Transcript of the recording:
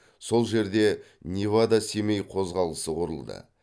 сол жерде невада семей қозғалысы құрылды